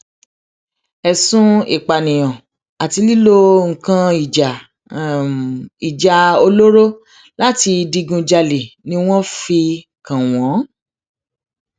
ẹsùn ìpànìyàn àti lílo nǹkan um ìjà um ìjà olóró láti digunjalè ni um wọn fi kàn wọn